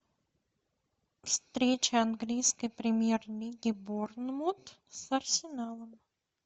встреча английской премьер лиги борнмут с арсеналом